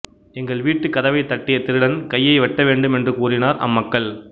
எங்கள் வீட்டுக் கதவைத் தட்டிய திருடன் கையை வெட்ட வேண்டும் என்றும் கூறினர் அம்மக்கள்